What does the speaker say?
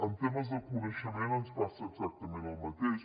en temes de coneixement ens passa exactament el mateix